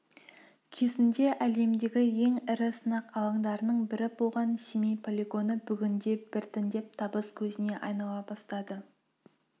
кезінде әлемдегі ең ірі сынақ алаңдарының бірі болған семей полигоны бүгінде біртіндеп табыс көзіне айнала бастады